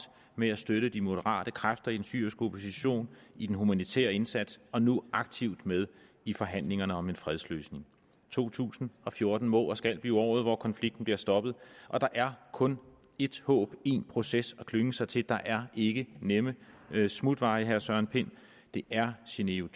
med at støtte de moderate kræfter i den syriske opposition i den humanitære indsats og er nu aktivt med i forhandlingerne om en fredsløsning to tusind og fjorten må og skal blive året hvor konflikten bliver stoppet og der er kun ét håb én proces at klynge sig til der er ikke nemme smutveje herre søren pind det er genève